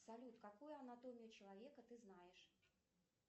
салют какую анатомию человека ты знаешь